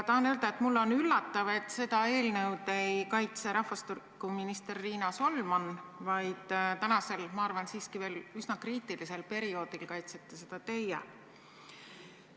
Tahan öelda, et mulle on üllatav, et seda eelnõu ei kaitse rahvastikuminister Riina Solman, vaid tänasel, ma arvan, et siiski veel üsna kriitilisel perioodil kaitsete seda teie.